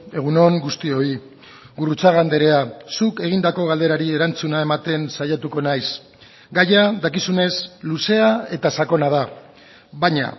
egun on guztioi gurrutxaga andrea zuk egindako galderari erantzuna ematen saiatuko naiz gaia dakizunez luzea eta sakona da baina